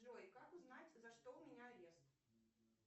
джой как узнать за что у меня арест